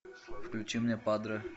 включи мне падре